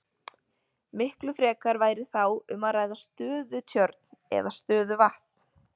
Miklu frekar væri þá um að ræða stöðutjörn eða stöðuvatn.